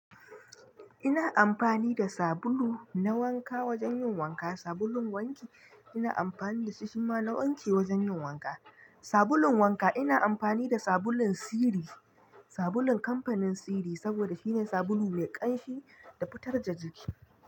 Ina amfani da sabulu na wanka wajen yin wanka, sabulun wanki ina amfani da shi shima na wanki wajen yin wanka. Sabulun wanka ina amfani da sabulun Siri, sabulun kamfanin Siri saboda shine sabulu mai ƙanshi da fitar da jiki.